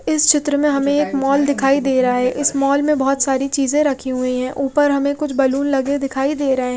इस चित्र में हमे एक मॉल दिखाई दे रहा है इस मॉल में बोहोत सारी चीज़े रखी हुई है उपर हमे कुछ बलून लगे दिखाई दे रहे है।